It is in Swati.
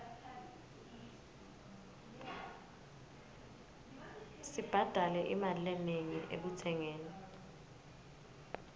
sibhadale imali lenengi ekutsengeni